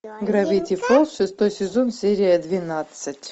гравити фолз шестой сезон серия двенадцать